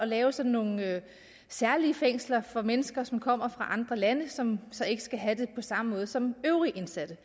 lave sådan nogle særlige fængsler for mennesker som kommer fra andre lande og som så ikke skal have det på samme måde som øvrige indsatte